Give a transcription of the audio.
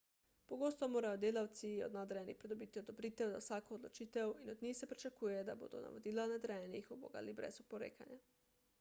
pogosto morajo delavci od nadrejenih pridobiti odobritev za vsako odločitev in od njih se pričakuje da bodo navodila nadrejenih ubogali brez oporekanja